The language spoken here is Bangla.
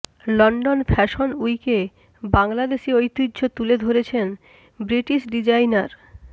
লন্ডন ফ্যাশন উইকে বাংলাদেশি ঐতিহ্য তুলে ধরছেন ব্রিটিশ ডিজাইনার